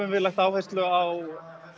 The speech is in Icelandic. lagt áherslu á